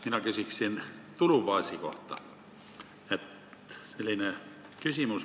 Mina küsiksin tulubaasi kohta.